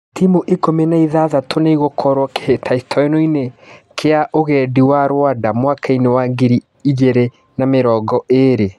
Timu ikũmi na ithathatũ nĩ igũkorwo kĩ hĩ tahĩ tanoinĩ kia ũgendi wa Rwanda mwaka wa ngiri igĩ rĩ na mĩ rongo ĩ rĩ .